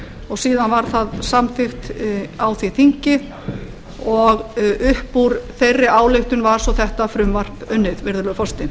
og síðan var það samþykkt á því þingi og upp úr þeirri ályktun var svo þetta frumvarp unnið virðulegur forseti